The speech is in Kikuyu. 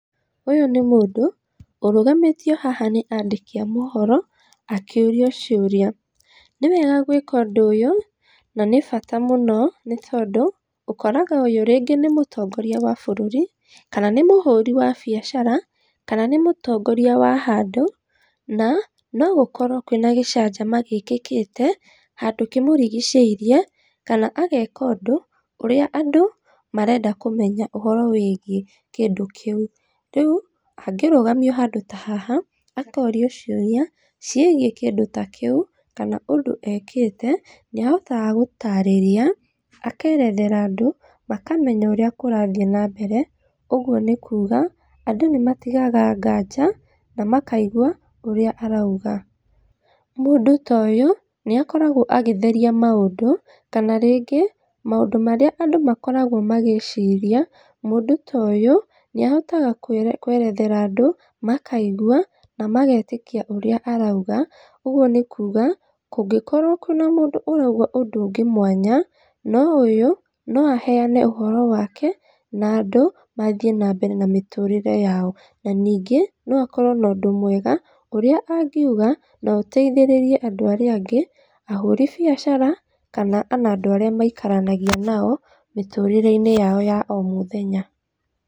Ũyũ nĩ mũndũ ĩrũgamĩtio haha nĩ andĩki a mohoro akĩũrio ciũria, Nĩ wega gwĩka ũndũ ũyũ na nĩ bata mũno nĩ tondũ, ũkoraga ũyu rĩngĩ nĩ mũtongoria wa bũrũri kana nĩ mũhũri wa biacara, kana nĩ mũtongoria wa handũ na no gũkorwo kwĩna gĩcanjama gĩĩkĩkĩte, handũ kĩmũrigicĩirie kana ageka ũndũ ũrĩa andũ marenda kũmenya ũhoro wĩgiĩ kĩndũ kĩu. Rĩu angĩrũgamio handũ ta haha akorio ciũria ciĩgiĩ kĩndũ ta kĩu kana ũndu ekĩte, nĩ ahotaga gũtarĩria, akerethara andũ, makamenya ũrĩa kũrathiĩ na mbere. Ũguo nĩ kuuga andũ nĩ matigaga nganja na makaigwa ũrĩa arauga. Mũndũ ta ũyũ nĩ akoragwo agĩtheria maũndũ, kana rĩngĩ maũndũ marĩa andũ makoragwo magĩĩciria mũndũ ta ũyũ nĩ ahotaga kũerethera andũ makaigwa na magetĩkia ũrĩa arauga. Ũguo nĩ kuuga, kũngĩkorwo wĩna mũndũa arauga ũndũ ũngĩ mwanya, no ũyũ no aheane ũhoro wake na andũ mathiĩ na mbere na mĩtũrĩre yao. Na ningĩ, no akorwo na ũndũ mwega ũrĩa angiuga na ũteithĩrĩrie andũ arĩa angĩ, ahũri biacara kana ona andũ arĩa maikaranagia nao mĩtũrĩre-inĩ yao ya o mũthenya.